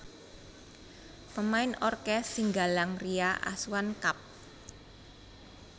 Pemain orkes Singgalang Ria Asuhan Kapt